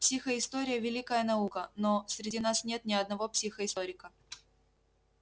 психоистория великая наука но среди нас нет ни одного психоисторика